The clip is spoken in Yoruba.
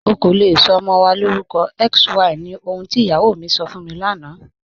Ọ̀ kò lè sọ ọmọ wa lórúkọ XY ní ọ̀hùn tí iyáwó mi sọ́ fún mi lánà.